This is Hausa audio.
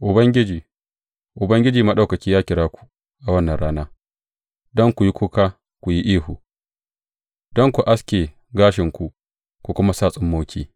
Ubangiji, Ubangiji Maɗaukaki ya kira ku a wannan rana don ku yi kuka ku yi ihu, don ku aske gashinku ku kuma sa tsummoki.